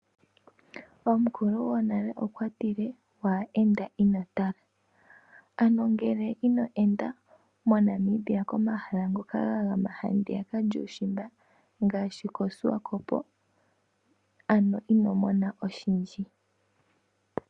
Omukulugonale okwa tile: "Waa enda ino tala", ano ngele ino enda moNamibia komahala ngoka ga gama handiyaka lyuushimba ngaashi koSwakopo ano ino mona oshindji.